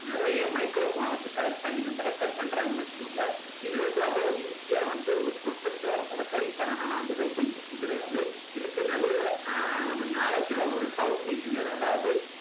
நிறைய microphone அ வச்சு connect பண்ணி வந்து record பண்றாங்க வச்சுக்கோங்க இது வந்து அவ்வளவு easy யா வந்து ஒரு perfect டா recording பண்ணனும்னா வந்து ரொம்ப easy கிடையாது இதுக்கு நல்ல ஆஹ் knowledge உள்ள ஒரு sound engineer அதாவது